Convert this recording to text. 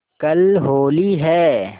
कल होली है